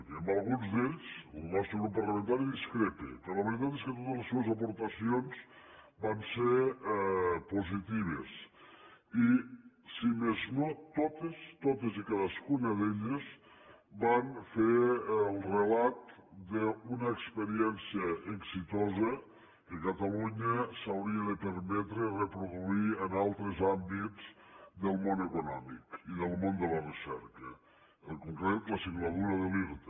que amb alguns d’ells el nostre grup parlamentari discrepa però la veritat és que totes les seves aportacions van ser positives i si més no totes totes i cadascuna d’elles van fer el relat d’una experiència exitosa que catalunya s’hauria de permetre reproduir en altres àmbits del món econòmic i del món de la recerca en concret la singladura de l’irta